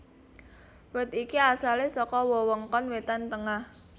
Wit iki asalé saka wewengkon wétan tengah